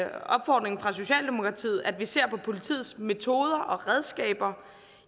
opfordringen fra socialdemokratiet at vi ser på politiets metoder og redskaber